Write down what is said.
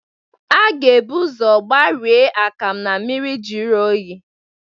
A ga ebu ụzọ gbarie akam na mmiri jiri oyi.